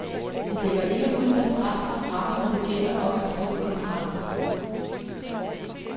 De lægger ikke ud med brask og bram, når det gælder om at skrive kontrakter.